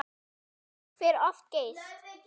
Fólk fer of geyst.